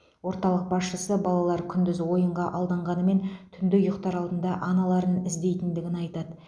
орталық басшысы балалар күндіз ойынға алданғанымен түнде ұйықтар алдында аналарын іздейтіндігін айтады